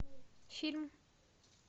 фильм